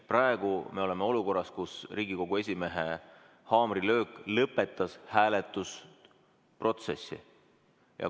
Praegu me oleme olukorras, kus Riigikogu esimehe haamrilöök lõpetas hääletusprotsessi.